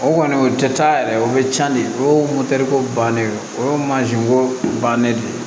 O kɔni o tɛ taa yɛrɛ o bɛ can de o ye ko bannen o mansin ko bannen de ye